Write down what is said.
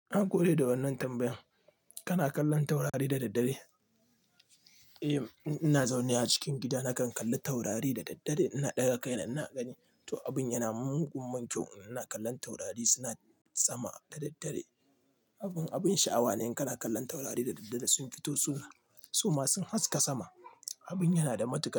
Na gode da wannan tambayan. Kana kallon taurari da daddare? Eh, in ina zaune a cikin gida nakan kalli taurari da daddare. Ina ɗaga kaina ina gani. To, abin yana mun gummun kyau in ina kallon taurari suna sama da daddare. Abin, abin sha'awa ne kana kallon taurari da daddare sun fito su ma sun haska sama. Abin yana da matuƙar kyau.